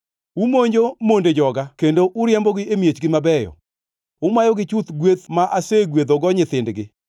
Umonjo monde joga kendo uriembogi e miechgi mabeyo. Umayogi chuth gweth ma asegwedhogo nyithindgi.